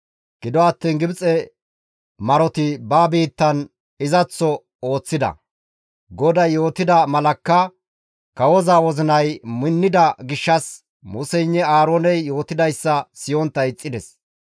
Gido attiin Gibxe maroti ba biittan izaththoka ooththida; GODAY yootida malakka kawoza wozinay minnida gishshas Museynne Aarooney yootidayssa siyontta ixxides.